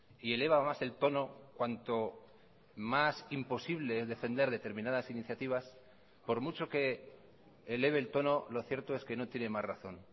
y eleva más el tono cuanto más imposible es defender determinadas iniciativas por mucho que eleve el tono lo cierto es que no tiene más razón